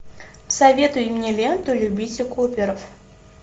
советуй мне ленту любите куперов